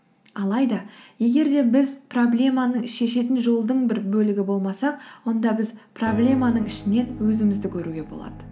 алайда егер де біз проблеманың шешетін жолдың бір бөлігі болмасақ онда біз проблеманың ішінен өзімізді көруге болады